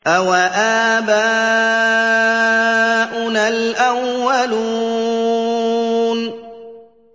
أَوَآبَاؤُنَا الْأَوَّلُونَ